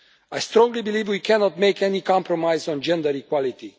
I strongly believe we cannot make any compromise on gender equality.